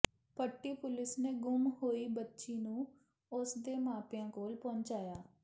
ਪੱਟੀ police ਨੇ ਗੁੰਮ ਹੋਈ ਬੱਚੀ ਨੂੰ ਉਸ ਦੇ ਮਾਪਿਆਂ ਕੋਲ ਪਹੁੰਚਾਇਆ